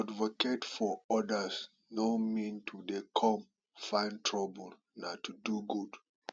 to advocate for odas no mean to dey come find trouble nah to do good